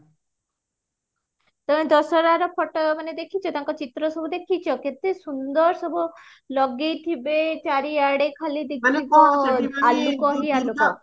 ତମେ ଦଶହରର photo ମାନେ ଦେଖିଚ ତାଙ୍କ ଚିତ୍ର ସବୁ ଦେଖିଚ କେତେ ସୁନ୍ଦର ସବୁ ଲଗେଇଥିବେ ଚାରିଆଡେ ଖାଲି ଦିଶୁଥିବା ଆଲୋକ ହିଁ ଆଲୋକ